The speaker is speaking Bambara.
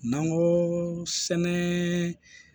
N'an ko sɛnɛ